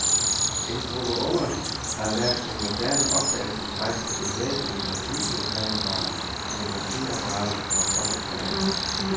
En gruppe unge har været på moderne opdagelsesrejse bevæbnet med videokameraer, fotografiapparater og båndoptagere.